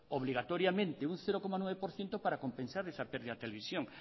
obligatoriamente un cero coma nueve por ciento para compensar esa pérdida de televisión